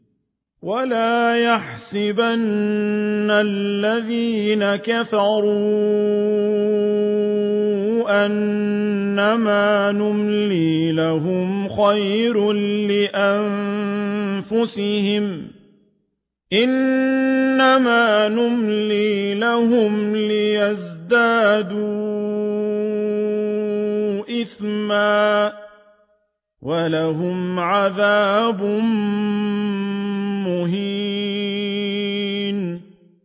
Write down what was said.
وَلَا يَحْسَبَنَّ الَّذِينَ كَفَرُوا أَنَّمَا نُمْلِي لَهُمْ خَيْرٌ لِّأَنفُسِهِمْ ۚ إِنَّمَا نُمْلِي لَهُمْ لِيَزْدَادُوا إِثْمًا ۚ وَلَهُمْ عَذَابٌ مُّهِينٌ